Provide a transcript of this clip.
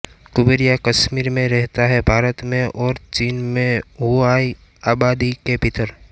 कुबेरिया कश्मीर में रहता है भारत में और चीन में हुआय आबादी के भीतर